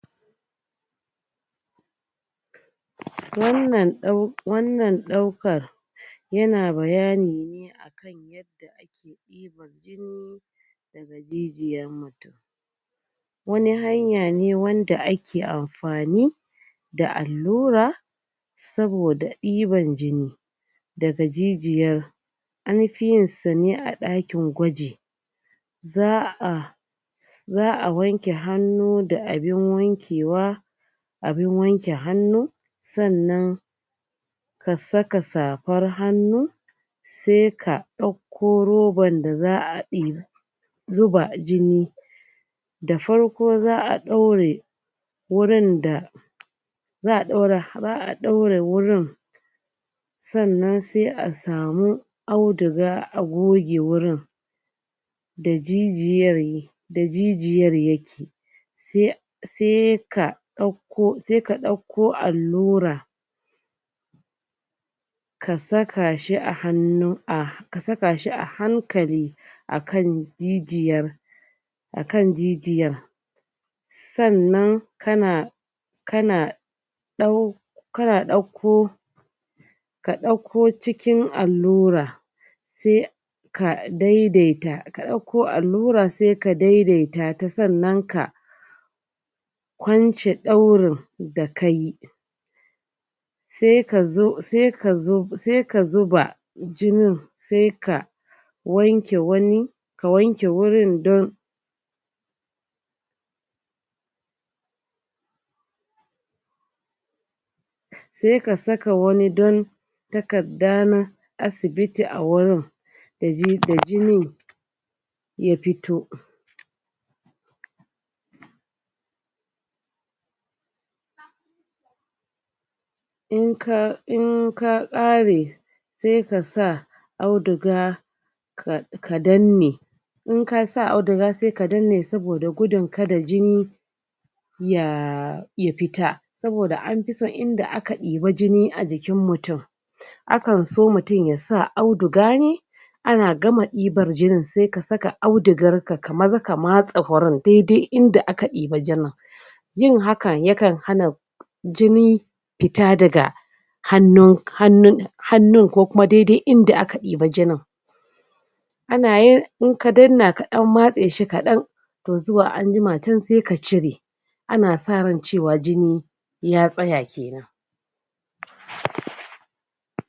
Wannan ɗaukar, yana bayani ne akan yadda ake ɗibar jini, daga jijiyan mutum. Wani hanya ne wanda ake amfani da allura, saboda ɗiban jini daga jijiyar. Anfi yin sa ne a ɗakin gwaji, za a za a wanke hannu da abin wankewa, abin wanke hannu, sannan ka saka safar hannu, sai ka ɗakko roban da za a zuba jini. Da farko, za a ɗaure wurin da za a ɗaure wurin, sannan sai a samu auduga, a goge wurin da jijiyar yi da jijiyar yake, sai sai ka ɗakko sai ka ɗakko allura, ka saka shi a hannu, ka saka shi a hankali, a kan jijiyar a kan jijiyan. Sannan kana kana kana ɗakko ka ɗakko cikin allura, sai daidaita, ka ɗakko allura sai ka daidaita ta, sannan ka kwance ɗaurin da kayi, sai ka zo, sai ka zo, sai ka zuba jinin, sai ka wanke wani ka wanke wurin don sai ka saka wani don takarda na asibiti, a wurin da jinin ya fito. In ka ƙare, sai ka sa auduga ka danne, in ka sa auduga sai ka danne, saboda gudun kada jini ya ya fita. Saboda anfi son inda aka ɗiba jini a jikin mutum, a kan so mutum ya sa auduga ne. Ana gama ɗibar jinin sai ka saka audugar ka, ka maza ka matse wurin, da-dai inda aka ɗiba jinin. Yin hakan, ya kan hana jini fita daga hannu, hannun, hannun ko kuma dai-dai inda aka ɗiba jinin. In ka danna, ka ɗan matse shi kaɗan, to zuwa anjima can sai ka cire, ana sa ran cewa jini ya tsaya kenan.